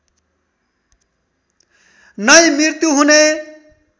नै मृत्यु हुने